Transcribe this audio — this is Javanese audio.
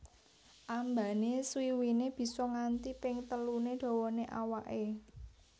Ambané swiwiné bisa nganti ping teluné dawané awaké